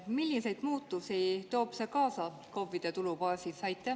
Milliseid muutusi toob see kaasa KOV‑ide tulubaasis?